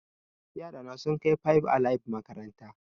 Yara na sun kai five alive makaranta